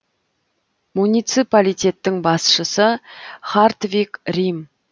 муниципалитеттің басшысы хартвиг рим